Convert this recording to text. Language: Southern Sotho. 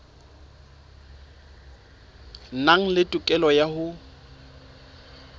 nang le tokelo ya ho